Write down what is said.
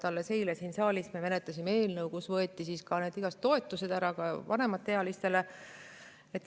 Alles eile siin saalis me menetlesime eelnõu, millega võeti igasugused toetused ära, ka vanemaealistelt.